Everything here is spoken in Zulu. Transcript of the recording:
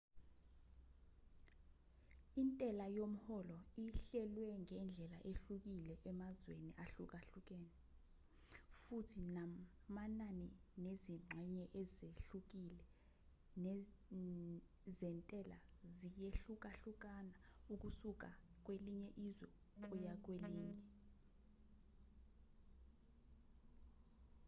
intela yomholo ihlelwe ngendlela ehlukile emazweni ahlukene futhi namanani nezingxenye ezehlukile zentelaziyehlukahlukakusuka kwelinye izwe kuya kwelinye